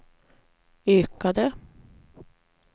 ökade